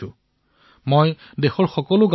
মই দেশৰ পঞ্চায়ত গাঁওবুঢ়াসকললৈ পত্ৰ লিখিলো